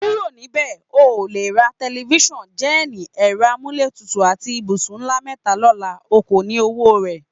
Kúrò̩ níbè̩! O ò lè ra te̩lifís̩àn, jé̩è̩nì, è̩ro̩ amúlétutù àti ibùsùn ńlá mé̩ta ló̩la; o kò ní owó rè̩.